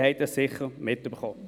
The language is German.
Sie haben das sicher mitbekommen.